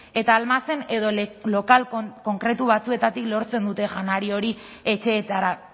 eta almazen edo lokal konkretu batzuetatik lortzen dute janari hori etxeetara